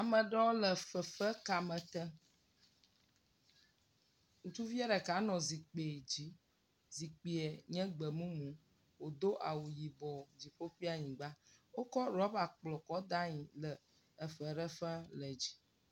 Ame ɖewo le fefe kame tem, ŋutsuviɛ ɖeka nɔ zikpui dzi, zikpui nye gbe mumu, wòdo awu yibɔ, dziƒo kpli anyigba, wokɔ rɔba kplɔ kɔ da le anyi, le feɖe fem le dzi.